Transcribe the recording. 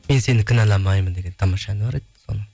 мен сені кінәламаймын деген тамаша әні бар еді соны